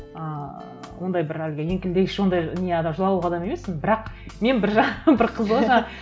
ыыы ондай бір әлгі еңкілдегіш ондай не адам жылауық адам емеспін бірақ мен бір жағынан бір қызығы жаңағы